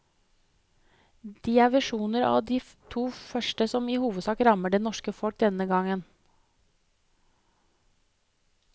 De er versjoner av de to første som i hovedsak rammer det norske folk denne gangen.